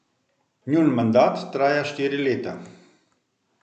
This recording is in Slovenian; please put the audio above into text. Njun mandat traja štiri leta.